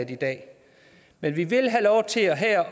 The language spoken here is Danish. i dag men vi vil have lov til her